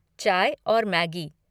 चाय और मैगी।